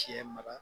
Sɛ mara